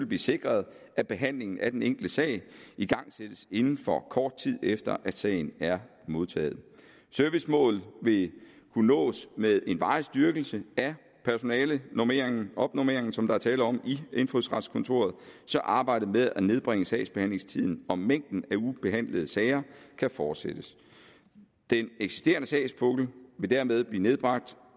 blive sikret at behandlingen af den enkelte sag igangsættes inden for kort tid efter at sagen er modtaget servicemålet vil kunne nås med en varig styrkelse af personalenormeringen opnormeringen som der er tale om i indfødsretskontoret så arbejdet med at nedbringe sagsbehandlingstiden og mængden af ubehandlede sager kan fortsættes den eksisterende sagspukkel vil dermed blive nedbragt